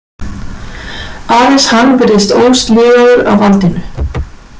Aðeins hann virðist ósligaður af valdinu.